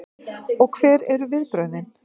Og hver eru viðbrögðin?